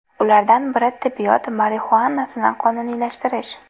Ulardan biri tibbiyot marixuanasini qonuniylashtirish.